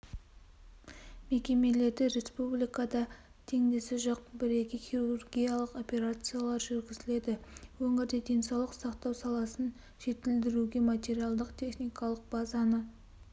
мекемелерде республикада теңдесі жоқ бірегей хирургиялық операциялар жүргізіледі өңірде денсаулық сақтау саласын жетілдіруге материалдық-техникалық базаны